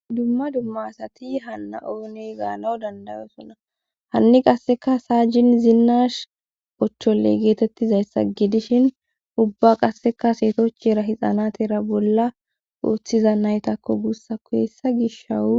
dumma dumma asati hanna ooney gaanao dandayosunna hanni qasseka saajjin zinnash ochchole geetettizayssa gidishin ubba qasseka seetochera hixanatera bolla ooththiza naytakko guussa kuyessa gish shawu